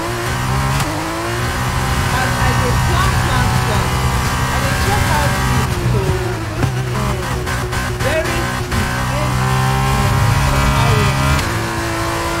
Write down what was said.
as i dey plan plant plant i dey check how deep to um bury seed based um on how rain go be